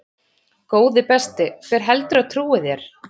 Góði besti, hver heldurðu að trúi þér?